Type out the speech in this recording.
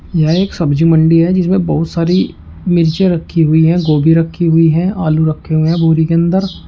यही एक सब्जी मंडी है जिसमें बहुत सारी मिर्ची रखी हुई हैं गोभी रखी हुई हैं आलू रखे हुए हैं बोरी के अंदर।